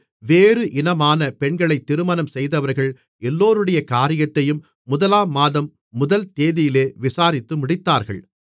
வேறு இனமான பெண்களைத் திருமணம் செய்தவர்கள் எல்லோருடைய காரியத்தையும் முதலாம் மாதம் முதல் தேதியிலே விசாரித்து முடித்தார்கள்